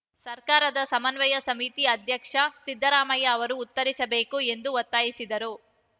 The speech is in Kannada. ಸರ್ಕಾರದ ಸಮನ್ವಯ ಸಮಿತಿ ಅಧ್ಯಕ್ಷ ಸಿದ್ದರಾಮಯ್ಯ ಅವರೂ ಉತ್ತರಿಸಬೇಕು ಎಂದು ಒತ್ತಾಯಿಸಿದರು